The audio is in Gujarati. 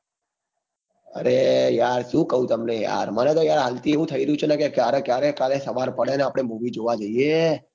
અરે યાર સુ કું તમને યાર મને તો યાર આં થી એવું થઇ ર્યું છે કે ક્યારે કાલ સવાર પડે ને આપડ movie જોવા જઈએ